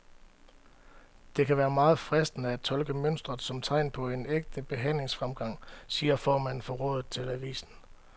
Det kan være meget fristende at tolke mønstret som tegn på en ægte behandlingsfremgang, siger formanden for rådet til avisen.